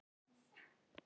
Við hvern er að eiga?